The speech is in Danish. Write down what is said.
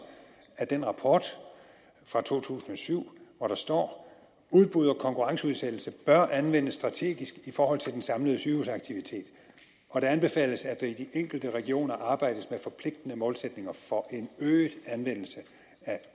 af den rapport fra to tusind og syv hvor der står udbud og konkurrenceudsættelse bør anvendes strategisk i forhold til den samlede sygehusaktivitet og det anbefales at der i de enkelte regioner arbejdes med forpligtende målsætninger for en øget anvendelse af